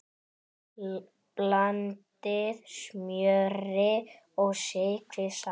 Blandið smjöri og sykri saman.